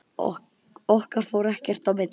Okkar fór ekkert í milli.